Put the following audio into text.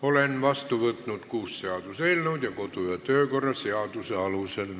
Olen vastu võtnud kuus seaduseelnõu ja me menetleme neid edasi kodu- ja töökorra seaduse alusel.